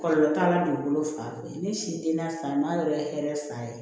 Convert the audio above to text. Kɔlɔlɔ t'a la dugukolo fan fɛ ne si denna san ma yɔrɔ ye hɛrɛ fan ye